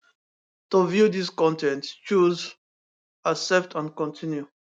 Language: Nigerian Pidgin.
to view dis con ten t choose accept and continue